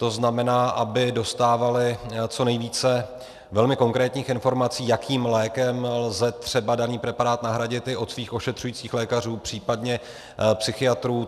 To znamená, aby dostávali co nejvíce velmi konkrétních informací, jakým lékem lze třeba daný preparát nahradit, i od svých ošetřujících lékařů, případně psychiatrů.